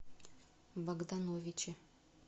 богдановиче